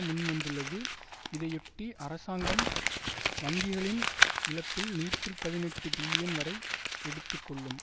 முன்வந்துள்ளது இதையொட்டி அரசாங்கம் வங்கிகளின் இழப்பில் நூற்றி பதினெட்டு பில்லியன் வரை எடுத்து கொள்ளும்